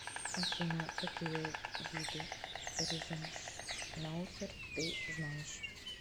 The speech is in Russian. афина какие виды ризеншнауцер ты знаешь